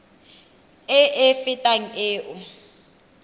e e fetang e o